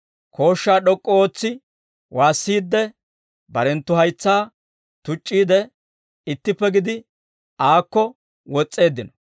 Kooshshaa d'ok'k'u ootsi waassiidde, barenttu haytsaa tuc'c'iide, ittippe gidi aakko wos's'eeddino.